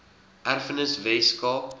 erfenis wes kaap